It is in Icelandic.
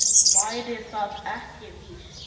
Væri það ekki víst?